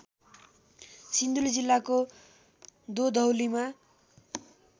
सिन्धुली जिल्लाको दोधौलीमा